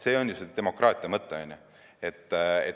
See on ju demokraatia mõtteaine.